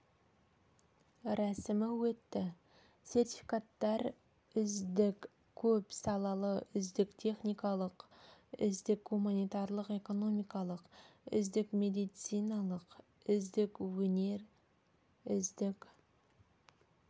рәсімі өтті сертификаттар үздік көп салалы үздік техникалық үздік гуманитарлық-экономикалық үздік медициналық үздік өнер үздік